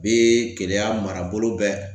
Bɛ Keleya marabolo bɛɛ